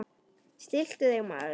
Stilltu þig, maður!